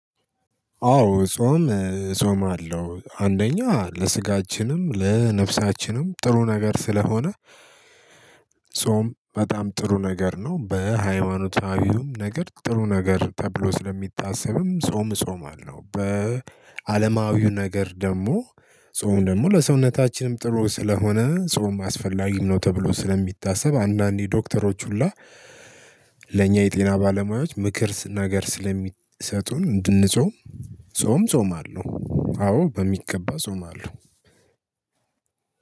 አዎ ጾም ጾማለው አንደኛ ለስጋችንም ለነፍሳችንም ጥሩ ነገር ስለሆነ። ጾም በጣም ጥሩ ነገር ነው። በሃይማኖታዊውም ነገር ጥሩ ነገር ተብሎ ስለሚታሰብም ጾም ጾማለው በአለማዊው ነገር ደግሞ። ጾም ደግሞ ለሰውነታችንም ጥሩ ስለሆነ ጾም አስፈላጊም ነው። ተብሎ ስለሚታሰብ አንዳንዴ ዶክተሮች ሁላ ለእኛ የጤና ባለሙያዎች ምክር ነገር ስለሚሰጡን እንድንጾም። ጾም ጾማለሁ አዎ በሚገባ ጾማለው።